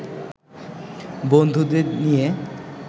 বন্ধুদের নিয়ে